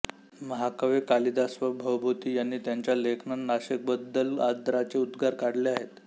महाकवी कालिदास व भवभूती यांनी त्यांच्या लेखनात नाशिकबद्दल आदराचे उद्गार काढले आहेत